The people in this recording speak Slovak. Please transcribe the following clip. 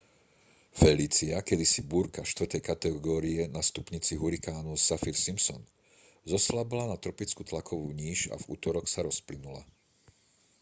felícia kedysi búrka 4. kategórie na stupnici hurikánu saffir-simpson zoslabla na tropickú tlakovú níž a v utorok sa rozplynula